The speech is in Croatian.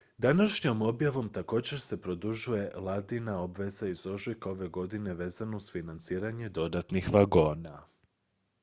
današnjom objavom također se produžuje vladina obveza iz ožujka ove godine vezana uz financiranje dodatnih vagona